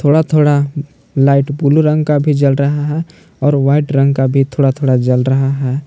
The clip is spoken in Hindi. थोड़ा थोड़ा लाइट ब्लू रंग का भी जल रहा है और व्हाइट रंग का भी थोड़ा थोड़ा जल रहा है।